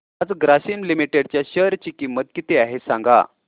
आज ग्रासीम लिमिटेड च्या शेअर ची किंमत किती आहे सांगा